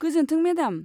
गोजोन्थों मेडाम।